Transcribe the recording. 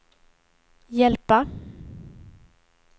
hjälpa